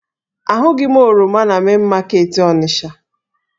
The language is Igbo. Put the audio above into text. Ahụghị m oroma na Main market Onisha